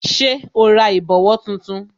Ṣé o ra ìbòwó tuntun